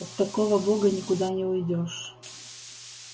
от такого бога никуда не уйдёшь